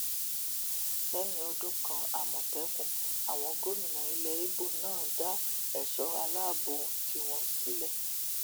lẹyìn ọdún kan àmọtẹkùn àwọn gómìnà ilẹ ibo náà dá èso aláàbọ tiwọn sílẹ